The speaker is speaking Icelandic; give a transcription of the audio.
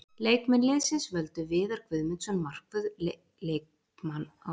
Leikmenn liðsins völdu Viðar Guðmundsson markvörð leikmann ársins og það sama gerði Jón Kristjánsson þjálfari.